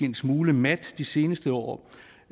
en smule mat de seneste år